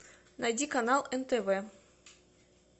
найди канал нтв